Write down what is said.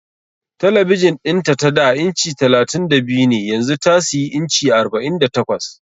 Talabijin din ta tada inci 32 ne yanzu ta siyi inci 48